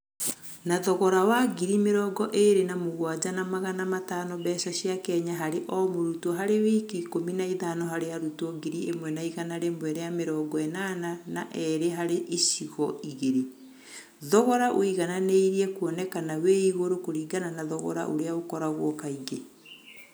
Na thogora wa ngiri mĩrongo-ĩrĩ na mũgwanja na magana matano mbeca cia Kenya harĩ o-murutwo harĩ wiki ikũmi na ithano harĩ arutwo ngiri ĩmwe igana rĩmwe rĩa mĩrongo-ĩnana na erĩ harĩ icigo igĩrĩ, thogora ũigananĩirie kuonekana wĩ igũrũ kũringana na thogora ũrĩa ũkoragũo kaingĩ.